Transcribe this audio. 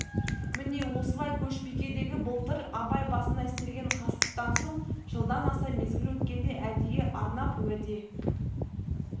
міне осылай көшбикедегі былтыр абай басына істелген қастықтан соң жылдан аса мезгіл өткенде әдейі арнап уәде